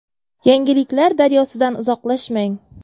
Yangiliklar daryosidan uzoqlashmang!